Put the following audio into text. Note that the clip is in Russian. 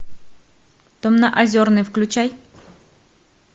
дом на озерной включай